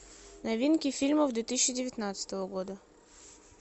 новинки фильмов две тысячи девятнадцатого года